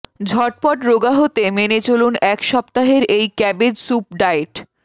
ঝটপট রোগা হতে মেনে চলুন এক সপ্তাহের এই ক্যাবেজ স্যুপ ডায়েট